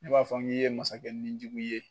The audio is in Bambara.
Ne b'a fɔ n k'i ye masakɛ nijugu ye.